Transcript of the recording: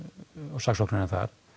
og saksóknarinn þar